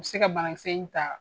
U bi se ka banakisɛ in ta